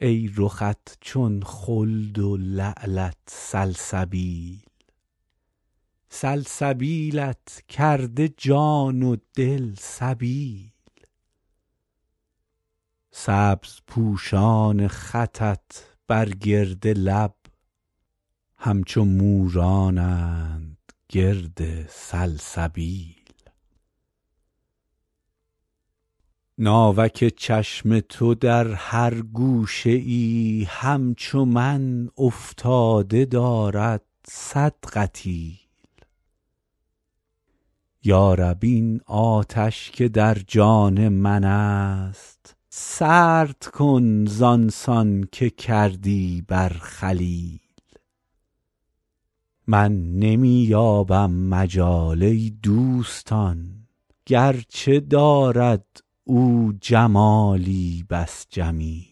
ای رخت چون خلد و لعلت سلسبیل سلسبیلت کرده جان و دل سبیل سبزپوشان خطت بر گرد لب همچو مورانند گرد سلسبیل ناوک چشم تو در هر گوشه ای همچو من افتاده دارد صد قتیل یا رب این آتش که در جان من است سرد کن زان سان که کردی بر خلیل من نمی یابم مجال ای دوستان گرچه دارد او جمالی بس جمیل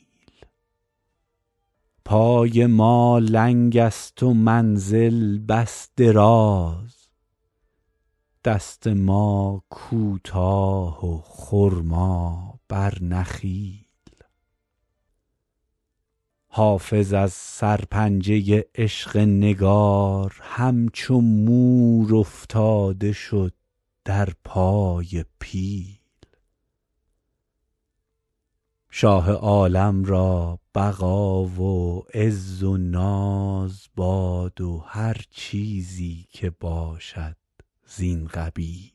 پای ما لنگ است و منزل بس دراز دست ما کوتاه و خرما بر نخیل حافظ از سرپنجه عشق نگار همچو مور افتاده شد در پای پیل شاه عالم را بقا و عز و ناز باد و هر چیزی که باشد زین قبیل